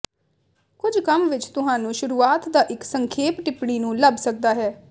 ਕੁਝ ਕੰਮ ਵਿੱਚ ਤੁਹਾਨੂੰ ਸ਼ੁਰੂਆਤ ਦਾ ਇੱਕ ਸੰਖੇਪ ਟਿੱਪਣੀ ਨੂੰ ਲੱਭ ਸਕਦਾ ਹੈ